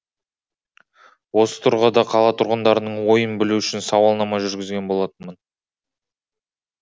осы тұрғыда қала тұрғындарының ойын білу үшін сауалнама жүргізген болатынмын